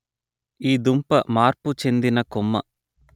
ఈ దుంప మార్పు చెందిన కొమ్మ